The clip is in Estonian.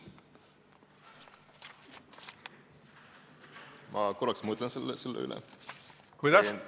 Ma korraks mõtlen selle üle.